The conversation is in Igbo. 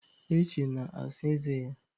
Eche na-asa eze ya.